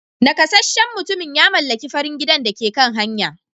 Nakasasshen mutumin ya mallaki farin gidan da ke kan hanya.